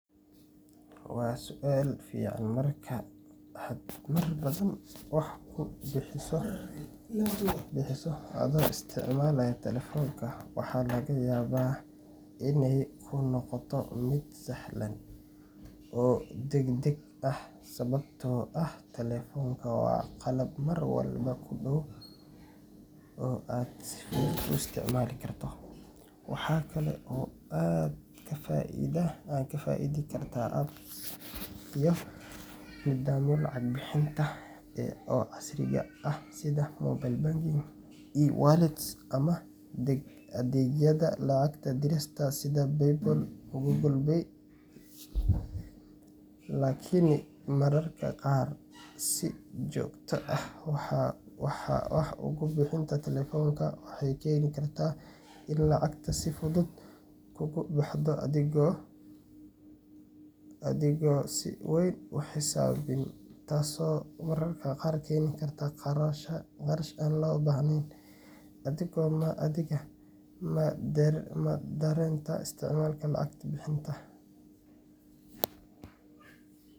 Waa sual fican markaad wax kubixiso adhigo isticmaalayo waxeey kunoqon karta mid sahlan, waxaa kale aad kafaidi kartaa kacag bixinta casriga ah, ama adeegyada lacag dirista, mararka qaar waxeey keeni kartaa in lacagta si fudud uga Bix, maxaay keeni kartaa qarashka.